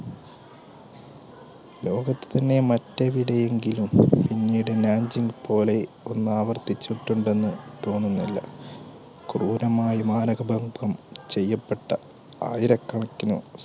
ലോകത്തന്നെ മറ്റെവിടെയെങ്കിലും പിന്നീട് പോലെ ഒന്ന് ആവർത്തിച്ചിട്ടുണ്ടെന്ന് തോന്നുന്നില്ല ക്രൂരമായി ചെയ്യപ്പെട്ട ആയിരകണക്കിന്